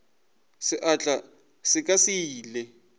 seatla sa ka se ile